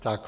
Tak.